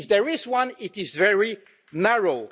If there is one, it is very narrow.